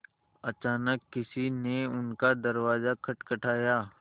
अचानक किसी ने उनका दरवाज़ा खटखटाया